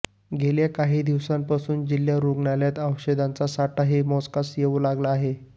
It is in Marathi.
गेल्या काही दिवसांपासून जिल्हा रुग्णालयात औषधांचा साठाही मोजकाच येवू लागला आहे